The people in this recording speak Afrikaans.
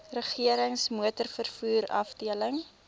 regerings motorvervoer afdeling